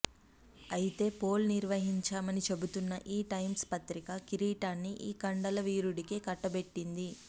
అయితే పోల్ నిర్వహించామని చెబుతోన్న టైమ్స్ పత్రిక కిరీటాన్ని ఈ కండల వీరుడికే కట్టబెట్టింది